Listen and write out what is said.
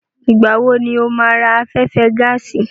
Ìgbà wo ni o máa ra afẹ́fẹ́ gáàsì?